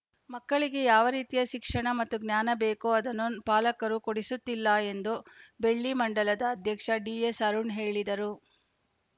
ಮಕ್ಕಳಿಗೆ ಯಾವ ರೀತಿಯ ಶಿಕ್ಷಣ ಮತ್ತು ಜ್ಞಾನ ಬೇಕೋ ಅದನ್ನು ಪಾಲಕರು ಕೊಡಿಸುತ್ತಿಲ್ಲ ಎಂದು ಬೆಳ್ಳಿ ಮಂಡಲದ ಅಧ್ಯಕ್ಷ ಡಿಎಸ್‌ ಅರುಣ್‌ ಹೇಳಿದರು